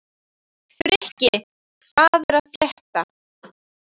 Frikki, hvað er að frétta?